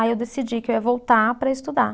Aí eu decidi que eu ia voltar para estudar.